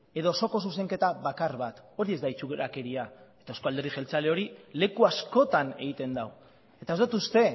edo osoko zuzenketa bakar bat hori ez da itxurakeria eta euzko alderdi jeltzaleak hori leku askotan egiten du eta ez dut uste